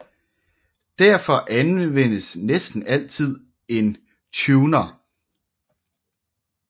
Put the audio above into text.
Derfor anvendes næsten altid en tuner